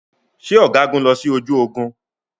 Ṣé ọ̀gágun lọ sí ojú ogun?